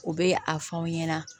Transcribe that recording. U bɛ a fɔ anw ɲɛna